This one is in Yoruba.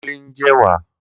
Kunle ń jẹ ẹ̀wà